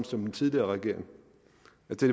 som den tidligere regering